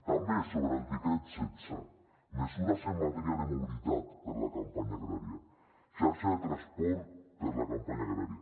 també sobre el decret setze mesures en matèria de mobilitat per la campanya agrària xarxa de transport per la campanya agrària